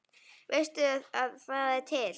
Veistu að það er til?